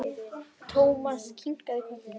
Thomas kinkaði kolli.